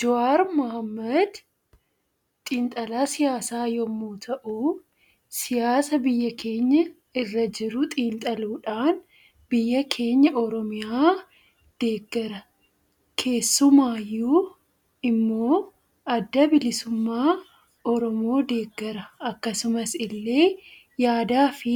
Jawaar Mohammad xiinxalaa siyaasa yommuu ta'u siyaasa biyya keenya irra jiru xiinxaluudhaan biyya keenya oromiyaa deeggara keessumaayyuu immoo adda bilisummaa oromoo deeggara akkasumas illee yaadaa fi